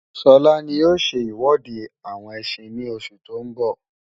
Sọlá ní ó ṣe iwọde àwọn ẹsin ní oṣù tó ń bọ̀